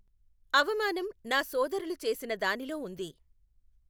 అవమానం నా సోదరులు చేసిన దానిలో ఉంది!